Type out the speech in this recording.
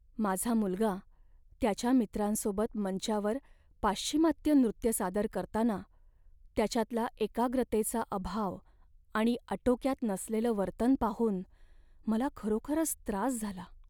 माझा मुलगा त्याच्या मित्रांसोबत मंचावर पाश्चिमात्य नृत्य सादर करताना त्याच्यातला एकाग्रतेचा अभाव आणि आटोक्यात नसलेलं वर्तन पाहून मला खरोखरच त्रास झाला.